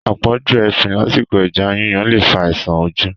Àpọ̀jù efin lásìkò ẹja yíyan le fa àisàn ojú